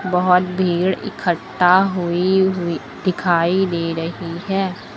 बहोत भीड़ इकट्ठा हुई हुई दिखाई दे रही है।